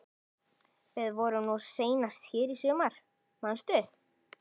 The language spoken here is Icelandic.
Við vorum nú seinast hér í sumar, manstu?